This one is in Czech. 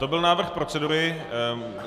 To byl návrh procedury.